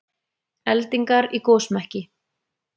Eldingar í gosmekki